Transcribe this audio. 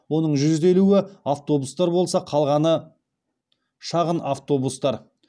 оның жүз елуі автобустар болса қалғаны шағын автобустар